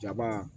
Jaba